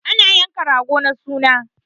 Ana yankan rago na suna